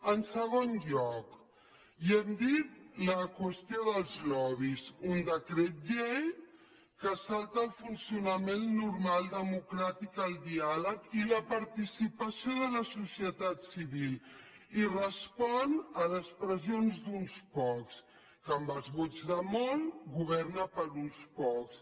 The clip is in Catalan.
en segon lloc ja hem dit la qüestió dels lobbys un decret llei que es salta el funcionament normal democràtic el diàleg i la participació de la societat civil i respon a les pressions d’uns pocs que amb els vots de molts governa per a uns pocs